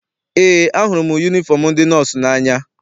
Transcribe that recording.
Eé, ahụrụ m yunifọm ndị nọọsụ n'anya.